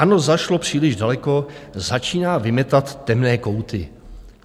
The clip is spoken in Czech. "ANO zašlo příliš daleko, začíná vymetat temné kouty."